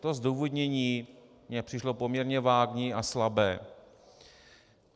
To zdůvodnění mně přišlo poměrně vágní a slabé.